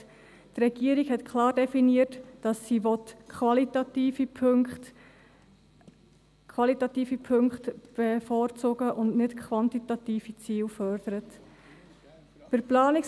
Die Regierung hat klar definiert, dass sie qualitative Punkte bevorzugen und nicht quantitative Ziele fördern will.